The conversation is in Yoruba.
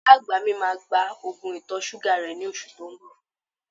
Ìyá àgbà mi máa gba Ògùn ìtọ̀-ṣúgà rẹ ní oṣù tó ń bọ